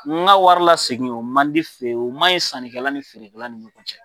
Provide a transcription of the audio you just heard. N ka wari lasegin o man di fe o man ɲi sannikɛla ni feerekɛla ni ɲɔgɔn cɛ.